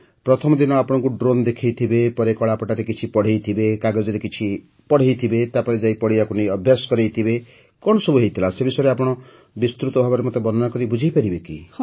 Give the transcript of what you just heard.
ପ୍ରଥମ ଦିନ ଆପଣଙ୍କୁ ଡ୍ରୋନ୍ ଦେଖାଇଥିବେ ପରେ କଳାପଟାରେ କିଛି ପଢ଼େଇଥିବେ କାଗଜରେ କିଛି ପଢ଼େଇଥିବେ ତାପରେ ଯାଇ ପଡ଼ିଆକୁ ନେଇ ଅଭ୍ୟାସ କରାଇଥିବେ କଣ ସବୁ ହୋଇଥିଲା ସେ ବିଷୟରେ ଆପଣ ବିସ୍ତୃତ ଭାବେ ମୋତେ ବର୍ଣ୍ଣନା କରି ବୁଝାଇପାରିବେ କି